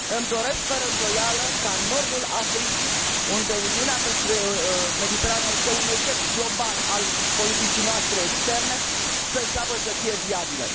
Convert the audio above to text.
Îmi doresc fără îndoială ca nordul Africii, unde Uniunea pentru Mediterana este un eșec global al politicii noastre externe, să înceapă să fie viabilă.